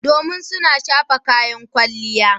Domin suna shafa kayan kwalliya.